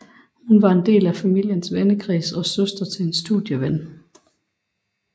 Hun var en del af familiens vennekreds og søster til en studieven